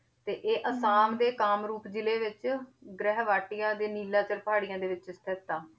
ਤੇ ਇਹ ਆਸਾਮ ਦੇ ਕਾਮਰੂਪ ਜ਼ਿਲ੍ਹੇ ਵਿੱਚ ਗ੍ਰਹਿਵਾਟੀਆ ਦੇ ਨੀਲਾਸ਼ਰ ਪਹਾੜੀਆਂ ਦੇ ਵਿੱਚ ਸਥਿੱਤ ਆ,